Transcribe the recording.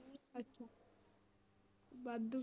ਅੱਛਾ ਵਾਧੂ।